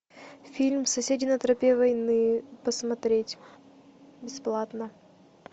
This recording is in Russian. фильм соседи на тропе войны смотреть бесплатно